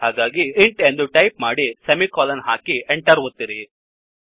ಹಾಗಾಗಿ int int ಎಂದು type ಮಾಡಿ ಸೆಮಿಕೋಲನ್ ಹಾಕಿ ಎಂಟರ್ ಒತ್ತಿರಿ